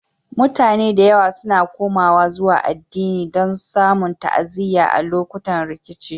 Mutane da yawa suna komawa zuwa addini don samun ta'aziyya a lokutan rikici.